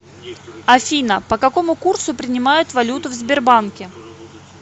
афина по какому курсу принимают валюту в сбербанке